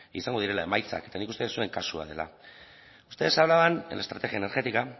izango direla emaitzak eta nik uste dut zuen kasua dela ustedes hablaban de la estrategia energética